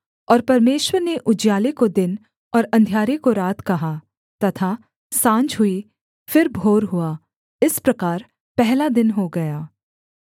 और परमेश्वर ने उजियाले को दिन और अंधियारे को रात कहा तथा साँझ हुई फिर भोर हुआ इस प्रकार पहला दिन हो गया